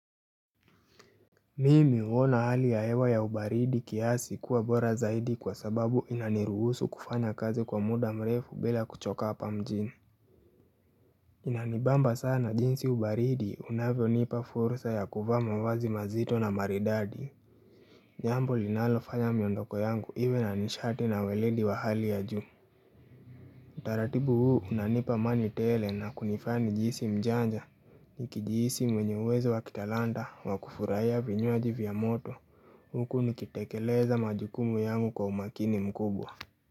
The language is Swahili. Mimi uona hali ya hewa ya ubaridi kiasi kuwa bora zaidi kwa sababu inaniruhusu kufanya kazi kwa muda mrefu bila kuchoka apa mjini Inanibamba sana jinsi ubaridi unavyo nipa fursa ya kuvaa mavazi mazito na maridadi Nyambo linalofanya miyondoko yangu hiwe na nishati na welendi wa hali ya juu Utaratibu huu unanipa amani tele na kunifaa nijisi mjanja nikijiisi mwenye uwezo wa kitalanda wakufurahia vinyuaji vya moto huku nikitekeleza majukumu yangu kwa umakini mkubwa.